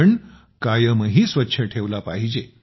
पण कायमही स्वच्छ ठेवला पाहिजे